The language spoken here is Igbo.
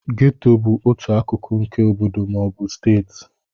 Gétò bụ otu akụkụ nke obodo ma ọ bụ steeti